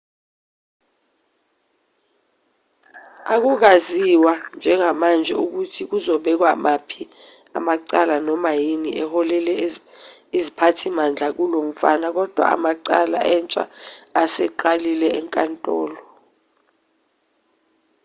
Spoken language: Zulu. akukaziwa njengamanje ukuthi kuzobekwa maphi amacala noma yini eholele iziphathimandla kulomfana kodwa amacala entsha aseqalile enkantolo